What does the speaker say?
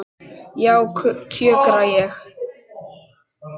Já, kjökra ég.